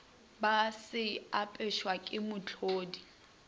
ba se abetšwego ke mohlodi